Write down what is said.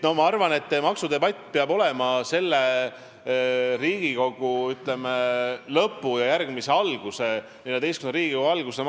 Ma arvan, et maksudebatt peab olema üks läbivaid debatte selle Riigikogu koosseisu lõpus ja järgmise, XIV Riigikogu alguses.